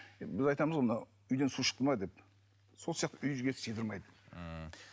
біз айтамыз ғой мынау үйден су шықты ма деп сол сияқты үйге сыйдырмайды ммм